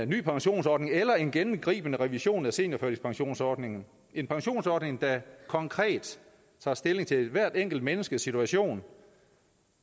ny pensionsordning eller en gennemgribende revision af seniorførtidspensionsordningen en pensionsordning der konkret tager stilling til hvert enkelt menneskes situation